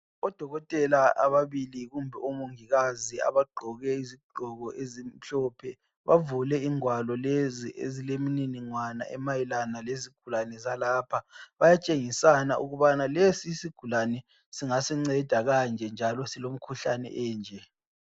Odokotela ababili kumbe omongikazi abagqoke izigqoko ezimhlophe bavule ingwalo lezi ezilemniningwana emayelana lezigulane zalapha. Bayatshengisana ukubana lesi isigulane singasi nceda kanje njalo silomkhuhlane enje.